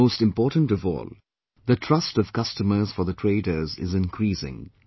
And most important of all, the trust of customers for the traders is increasing